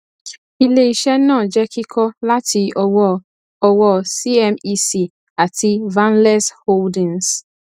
iléiṣé náà jẹ kíkọ láti ọwọ ọwọ cmec àti valenz holdings